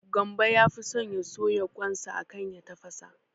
Gambo yafi so ya soya kwan sa akan ya tafasa